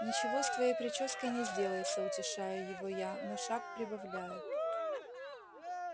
ничего с твоей причёской не сделается утешаю его я но шаг прибавляю